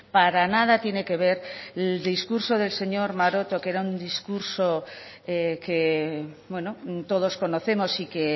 para nada tiene que ver el discurso del señor maroto que era un discurso que todos conocemos y que